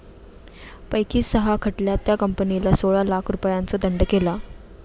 पैकी सहा खटल्यात त्या कंपनीला सोळा लाख रुपयांचा दंड केला